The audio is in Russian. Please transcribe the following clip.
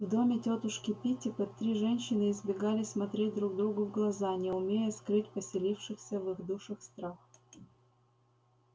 в доме тётушки питтипэт три женщины избегали смотреть друг другу в глаза не умея скрыть поселившийся в их душах страх